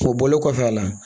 O bɔlen kɔfɛ a la